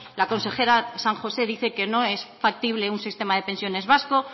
la consejera san josé dice que no es factible un sistema de pensiones vasco